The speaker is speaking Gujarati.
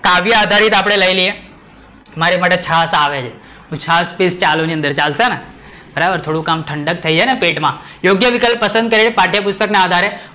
કાવ્ય આધારિત આપડે લઈ લઈએ, મારી માટે છાસ આવે છે હું છાસ પીસ ચાલુ ની અંદર ચાલશે ને, થોડુંક આમ ઠંડક થઈ જાય ને પેટ માં, યોગ્ય વિકલ્પ પસંદ કરી પાઠ્ય પુસ્તક ના આધારે